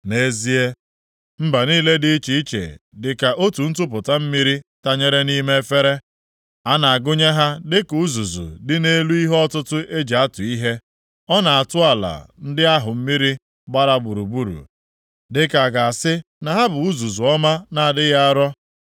Nʼezie, mba niile dị iche iche dịka otu ntupụta mmiri tanyere nʼime efere; a na-agụnye ha dịka uzuzu dị nʼelu ihe ọtụtụ e ji atụ ihe; ọ na-atụ ala ndị ahụ mmiri gbara gburugburu dịka a ga-asị na ha bụ uzuzu ọma na-adịghị arọ.